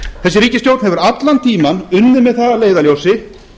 þessi ríkisstjórn hefur allan tímann unnið með það að leiðarljósi